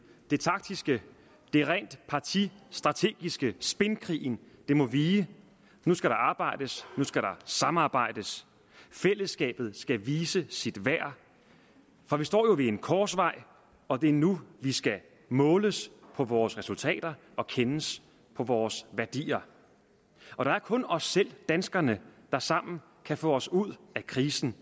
det taktiske det rent partistrategiske spinkrigen må vige nu skal der arbejdes nu skal der samarbejdes og fællesskabet skal vise sit værd for vi står jo ved en korsvej og det er nu vi skal måles på vores resultater og kendes på vores værdier der er kun os selv danskerne der sammen kan få os ud af krisen